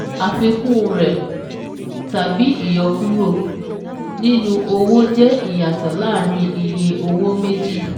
Àfikún rẹ̀ (tàbí ìyọkúrò) nínú owó jẹ́ Ìyàtọ̀ láàárín iye owó méjì